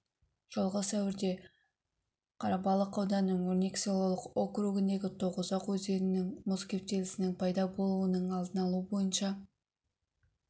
жылғы сәуірде қарабалық ауданының өрнек селолық округіндегі тоғұзақ өзенінде мұз кептелісінің пайда болуының алдын алу бойынша